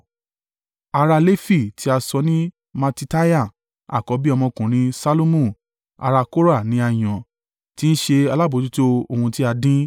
Ará Lefi tí a sọ ní Mattitiah àkọ́bí ọmọkùnrin Ṣallumu ará Kora ni a yàn, tí ń ṣe alábojútó ohun tí a dín.